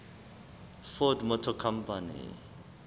ford motor company